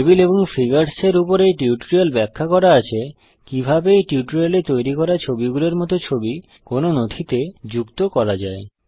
table এবং figures এর উপর এই টিউটোরিয়াল ব্যাখ্যা করা আছে কিভাবে এই টিউটোরিয়াল এ তৈরী করা ছবিগুলির মত ছবি কোন নথিতে যুক্ত করা যায়